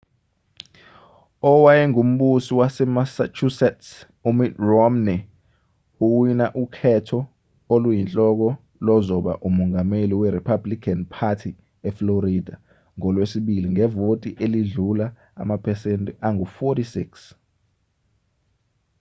owayengumbusi wasemassachusetts umitt romney uwina ukhetho oluyinhloko lozoba umongameli werepublican party eflorida ngolwesibili ngevoti elidlula amaphesenti angu-46